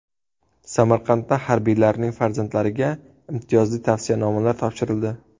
Samarqandda harbiylarning farzandlariga imtiyozli tavsiyanomalar topshirildi.